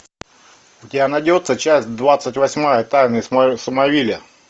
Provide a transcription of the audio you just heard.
у тебя найдется часть двадцать восьмая тайны смолвиля